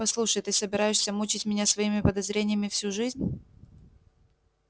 послушай ты собираешься мучить меня своими подозрениями всю жизнь